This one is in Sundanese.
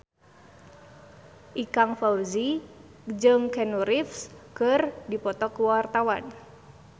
Ikang Fawzi jeung Keanu Reeves keur dipoto ku wartawan